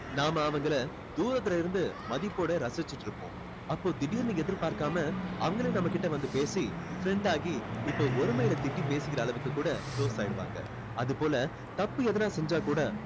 நாம அவங்களை தூரத்துல இருந்து மதிப்போட ரசிச்சிட்டுருப்போம் அப்போ திடீர்னு எதிர் பார்க்காம அவங்களே நம்ம கிட்ட வந்து பேசி friend ஆகி இப்போ ஒருமைல திட்டி பேசிக்கிற அளவுக்கு கூட close ஆகிடுவாங்க அது போல தப்பு எதுன்னா செஞ்சா கூட